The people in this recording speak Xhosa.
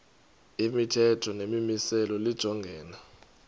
imithetho nemimiselo lijongene